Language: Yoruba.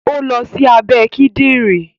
ó lọ sí abẹ́ Kídìnrín